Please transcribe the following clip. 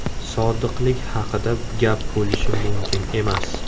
Sodiqlik haqida gap bo‘lishi mumkin emas!